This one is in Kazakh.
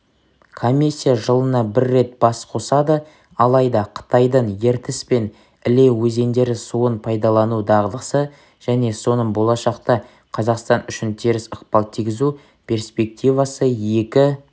комиссия жылына бір рет бас қосады алайда қытайдың ертіс пен іле өзендері суын пайдалану дағдысы және соның болшақта қазақстан үшін теріс ықпал тигізу перспективасы екі